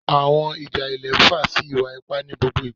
Awọn ija ilẹ nfa si iwa-ipa ni gbogbo igba